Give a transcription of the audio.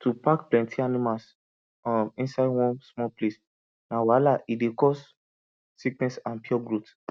to pack plenty animals um inside one small place na wahala e dey cause sickness and poor growth